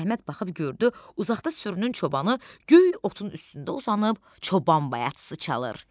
Əhməd baxıb gördü, uzaqda sürünün çobanı göy otun üstündə uzanıb, çoban bayatısı çalır.